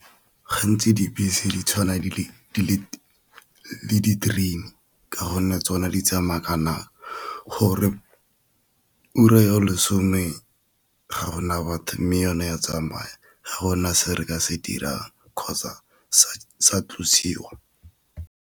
Ga ntsi dibese di tshwana le ka gonne tsone di tsamaya gore ura yo lesome ga gona batho, mme yone ya tsamaya gona se re ka se dirang kgotsa se sa thusiwa.